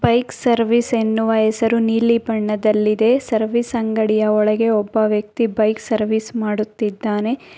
Bike service ಎನ್ನುವ ಹೆಸರು ನೀಲಿ ಬಣ್ಣದಲ್ಲಿದೆ ಸರ್ವಿಸ್ ಅಂಗಡಿಯ ಒಳಗೆ ಒಬ್ಬ ವ್ಯಕ್ತಿ ಬೈಕ್ ಸರ್ವಿಸ್ ಮಾಡುತ್ತಿದ್ದಾನೆ.